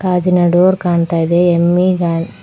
ಗಾಜಿನ ಡೋರ್ ಕಾಣ್ತಾ ಇದೆ ಎಂ_ವಿ ಗಾ--